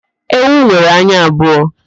Ewu nwere anya abụọ